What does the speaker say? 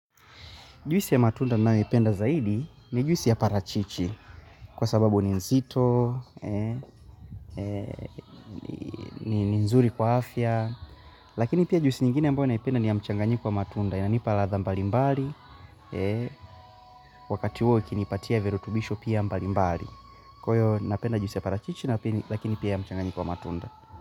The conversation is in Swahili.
Juisi ya matunda ninayoipenda zaidi ni juisi ya parachichi kwa sababu ni nzito, ni nzuri kwa afya. Lakini pia juisi nyingine ambayo naipenda ni ya mchanganyiko wa matunda. Yananipa ladha mbali mbali, wakati huo ikinipatia virutubisho pia mbali mbali. Kwa hiyo napenda juisi ya parachichi lakini pia ya mchanganyiko wa matunda.